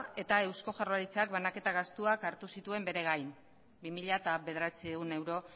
eta eusko jaurlaritzak banaketa gastuak hartu zituen bere gain bi mila bederatziehun euro